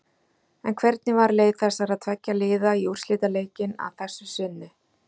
En hvernig var leið þessara tveggja liða í úrslitaleikinn að þessu sinni?